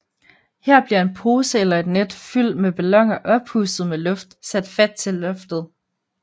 Her bliver en pose eller et net fyld med balloner oppustet med luft sat fat til loftet